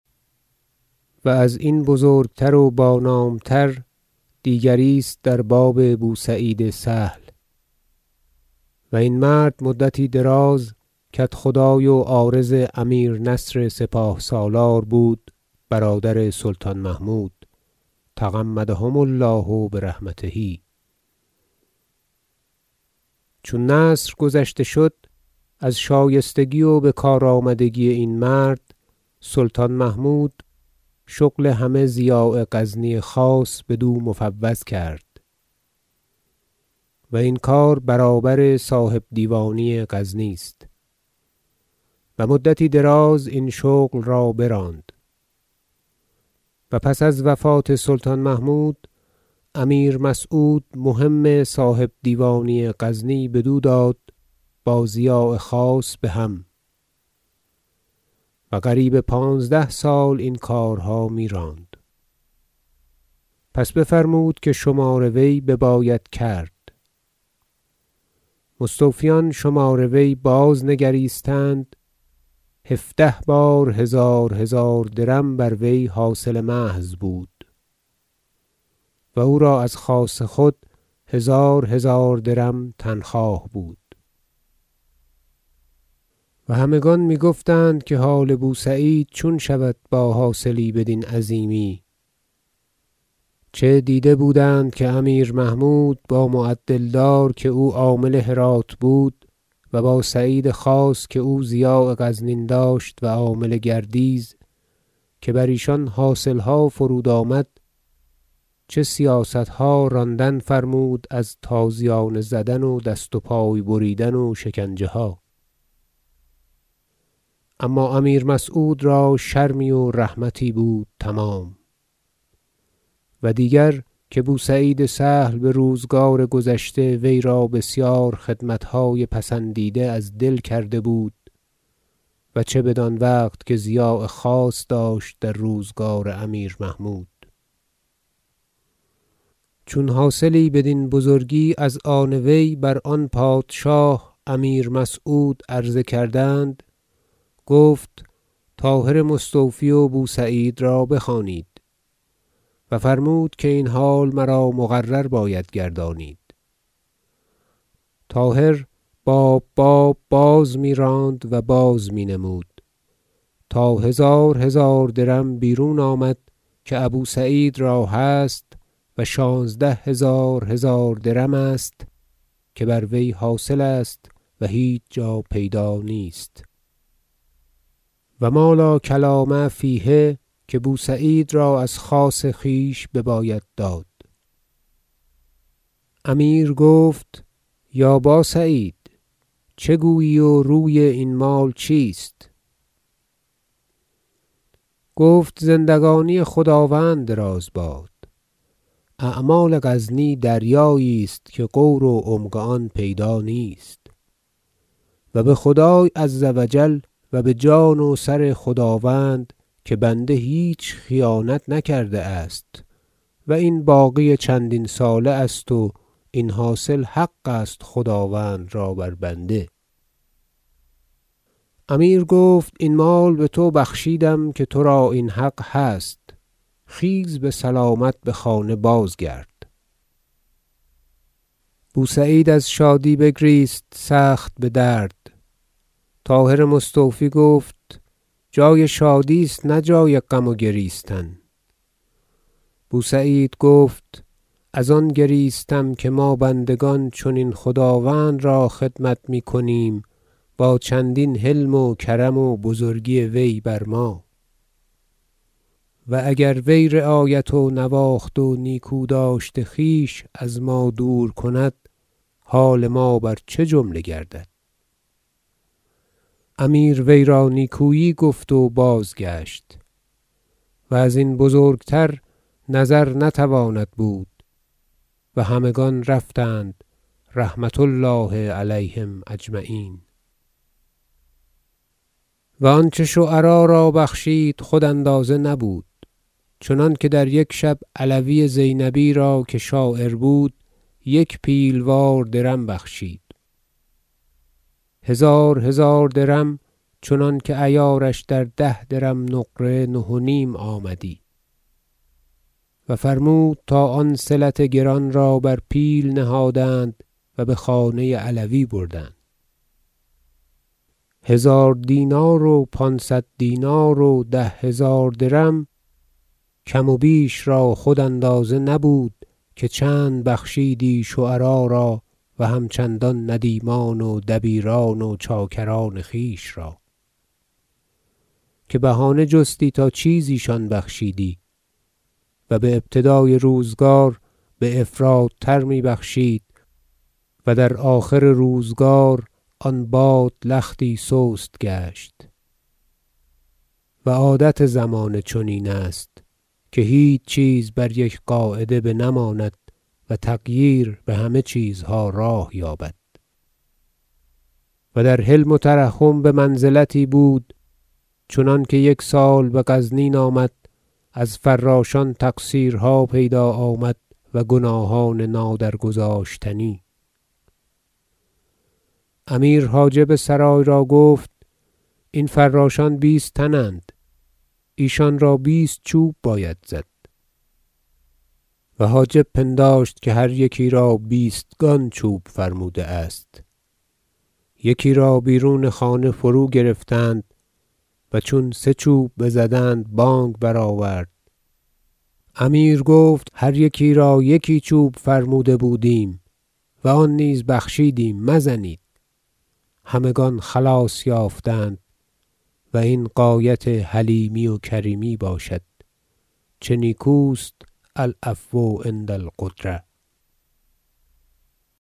و ازین بزرگتر و بانام تر دیگری است در باب بوسعید سهل و این مرد مدتی دراز کدخدای و عارض امیر نصر سپاه سالار بود برادر سلطان محمود -تغمدهم الله برحمته - چون نصر گذشته شد از شایستگی و بکارآمدگی این مرد سلطان محمود شغل همه ضیاع غزنی خاص بدو مفوض کرد- و این کار برابر صاحبدیوانی غزنی است- و مدتی دراز این شغل را براند و پس از وفات سلطان محمود امیر مسعود مهم صاحبدیوانی غزنی بدو داد با ضیاع خاص بهم و قریب پانزده سال این کارها میراند پس بفرمود که شمار وی بباید کرد مستوفیان شمار وی بازنگریستند هفده بار هزار هزار درم بر وی حاصل محض بود و او را از خاص خود هزار هزار درم تنخواه بود و همگان می گفتند که حال بوسعید چون شود با حاصلی بدین عظیمی چه دیده بودند که امیر محمود با معدل دار که او عامل هرات بود و با سعید خاص که او ضیاع غزنین داشت و عامل گردیز که بر ایشان حاصلها فرودآمد چه سیاستها راندن فرمود از تازیانه زدن و دست و پای بریدن و شکنجه ها اما امیر مسعود را شرمی و رحمتی بود تمام و دیگر که بوسعید سهل به روزگار گذشته وی را بسیار خدمتهای پسندیده از دل کرده بود و چه بدان وقت که ضیاع خاص داشت در روزگار امیر محمود چون حاصلی بدین بزرگی از آن وی بر آن پادشاه امیر مسعود عرضه کردند گفت طاهر مستوفی و بوسعید را بخوانید و فرمود که این حال مرا مقرر باید گردانید طاهر باب باب بازمیراند و بازمینمود تا هزار هزار درم بیرون آمد که ابوسعید را هست و شانزده هزار هزار درم است که بر وی حاصل است و هیچ جا پیدا نیست و ما لا کلام فیه که بوسعید را از خاص خویش بباید داد امیر گفت یا باسعید چه گویی و روی این مال چیست گفت زندگانی خداوند دراز باد اعمال غزنین دریایی است که غور و عمق آن پیدا نیست و به خدای -عز و جل- و به جان و سر خداوند که بنده هیچ خیانت نکرده است و این باقی چندین ساله است و این حاصل حق است خداوند را بر بنده امیر گفت این مال به تو بخشیدم که تو را این حق هست خیز به سلامت به خانه بازگرد بوسعید از شادی بگریست سخت بدرد طاهر مستوفی گفت جای شادی است نه جای غم و گریستن بوسعید گفت از آن گریستم که ما بندگان چنین خداوند را خدمت میکنیم با چندین حلم و کرم و بزرگی وی بر ما و اگر وی رعایت و نواخت و نیکوداشت خویش از ما دور کند حال ما بر چه جمله گردد امیر وی را نیکویی گفت و بازگشت و ازین بزرگتر نظر نتواند بود و همگان رفتند -رحمة الله علیهم أجمعین - و آنچه شعرا را بخشید خود اندازه نبود چنانکه در یک شب علوی زینبی را که شاعر بود یک پیل وار درم بخشید هزار هزار درم چنانکه عیارش در ده درم نقره نه و نیم آمدی و فرمود تا آن صلت گران را بر پیل نهادند و به خانه علوی بردند هزار دینار و پانصد دینار و ده هزار درم کم و بیش را خود اندازه نبود که چند بخشیدی شعرا را و هم چنان ندیمان و دبیران و چاکران خویش را که بهانه جستی تا چیزی شان بخشیدی و به ابتدای روزگار بافراطتر می بخشید و در آخر روزگار آن باد لختی سست گشت و عادت زمانه چنین است که هیچ چیز بر یک قاعده بنماند و تغییر به همه چیزها راه یابد و در حلم و ترحم به منزلتی بود چنانکه یک سال به غزنین آمد از فراشان تقصیرها پیدا آمد و گناهان نادرگذاشتنی امیر حاجب سرای را گفت این فراشان بیست تن اند ایشان را بیست چوب باید زد و حاجب پنداشت که هر یکی را بیستگان چوب فرموده است یکی را بیرون خانه فروگرفتند و چون سه چوب بزدند بانگ برآورد امیر گفت هر یکی را یکی چوب فرموده بودیم و آن نیز بخشیدیم مزنید همگان خلاص یافتند و این غایت حلیمی و کریمی باشد چه نیکوست العفو عند القدرة